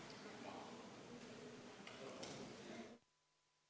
Istungi lõpp kell 13.12.